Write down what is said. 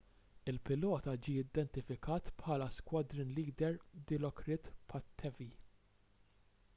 il-pilota ġie identifikat bħala squadron leader dilokrit pattavee